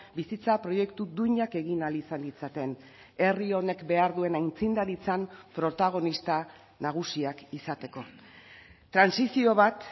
bizitza proiektu duinak egin ahal izan ditzaten herri honek behar duen aitzindaritzan protagonista nagusiak izateko trantsizio bat